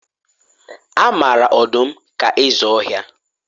A mara ọdụm ka eze ọhịa